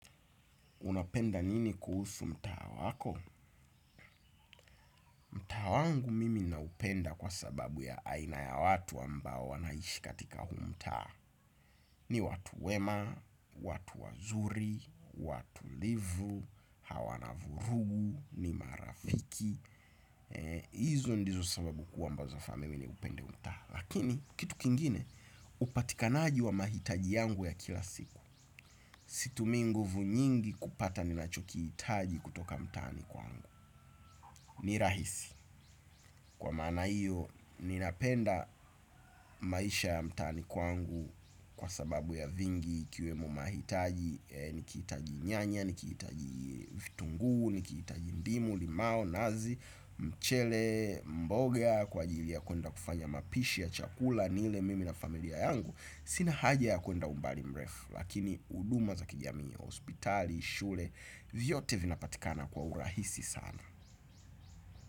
Unapenda nini kuhusu mtaa wako? Mtaa wangu mimi naupenda kwa sababu ya aina ya watu ambao wanaishi katika huu mtaa. Ni watu wema, watu wazuri, watu livu, hawana vurugu, ni marafiki. Hizo ndizo sababu kuu ambazo imenifanya mimi niupende huu mtaa. Lakini, kitu kingine, upatikanaji wa mahitaji yangu ya kila siku. Situmii nguvu nyingi kupata ni nachokihitaji kutoka mtaani kwangu. Ni rahisi. Kwa maana iyo, ninapenda maisha ya mtaani kwangu kwa sababu ya vingi ikiwemo mahitaji, nikihitaji nyanya, nikihitaji vitunguu nikihitaji ndimu, limao, nazi, mchele, mboga, kwa ajili ya kwenda kufanya mapishi ya chakula, nile mimi na familia yangu. Sina haja ya kwenda umbali mrefu, lakini huduma za kijamii, hospitali, shule, vyote vinapatikana kwa urahisi sana.